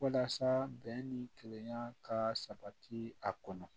Walasa bɛn ni kelenya ka sabati a kɔnɔ